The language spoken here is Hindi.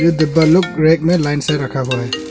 डिब्बा लोग रैक में लाइन से रखा हुआ है।